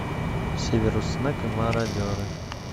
северус снегг и мародеры